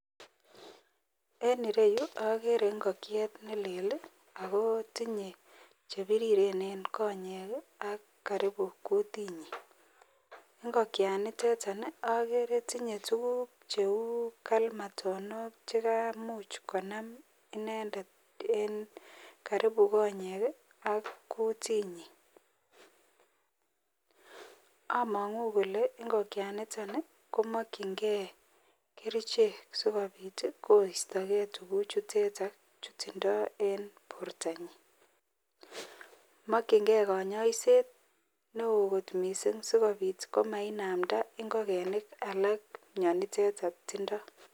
En ireyu agere ingokiet nelel ako tinye chebiriren en konyek AK akarubu kutinyinngokiet nitetonagere tinye tuguk cheu kalmatonok cheu chekamuchbkonam inendet en Karibu konyek ak kitunyin amangu Kole ingokaniton komakingei kerchek sikobit koistaigei tuguk chuteton chetindoi en bortanyin makingeibkanyoiset neo kot mising sikobit komainamda ingogenik alak mnyaniteta btindoi